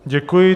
Děkuji.